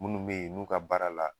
Munnu be yen n'u ka baara la